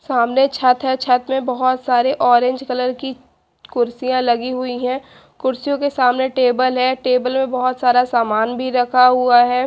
सामने छत है छत में बहोत सारे ऑरेंज कलर कुर्सियां लगी हुई है कुर्सियो के सामने टेबल है टेबल में बहोत सारा सामान रखा हुआ है।